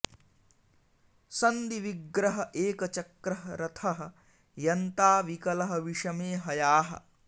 सन्धि विग्रह एकचक्रः रथः यन्ता विकलः विषमे हयाः